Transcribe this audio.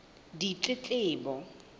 ditletlebo